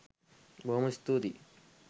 බොහොම ස්තුතියි